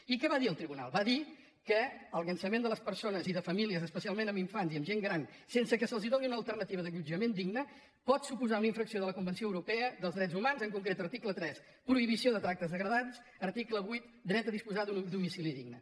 i què va dir el tribu·nal va dir que el llançament de persones i de famílies especialment amb infants i amb gent gran sense que se’ls doni una alternativa d’allotjament digne pot su·posar una infracció de la convenció europea dels drets humans en concret article tres prohibició de tractes de·gradants i article vuit dret a disposar d’un domicili digne